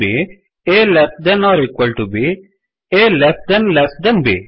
A less than or equal to b A less than less than B